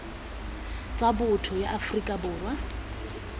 tsa botho ya aforika borwa